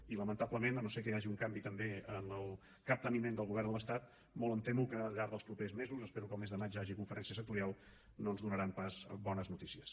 i lamentablement si no és que hi ha un canvi també en el capteniment del govern de l’estat molt em temo que al llarg dels propers mesos espero que el mes de maig hi hagi conferència sectorial no ens donaran pas bones notícies